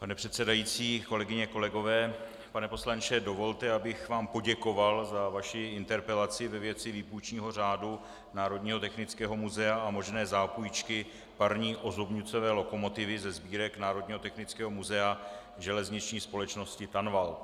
Pane předsedající, kolegyně, kolegové, pane poslanče, dovolte, abych vám poděkoval za vaši interpelaci ve věci výpůjčního řádu Národního technického muzea a možné zápůjčky parní ozubnicové lokomotivy ze sbírek Národního technického muzea Železniční společnosti Tanvald.